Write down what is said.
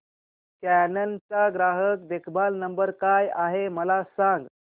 canon चा ग्राहक देखभाल नंबर काय आहे मला सांग